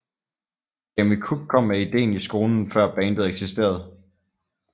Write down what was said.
Jamie Cook kom med idéen i skolen før bandet eksisterede